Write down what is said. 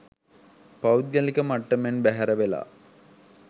පෞද්ගලික මට්ටමෙන් බැහැර වෙලා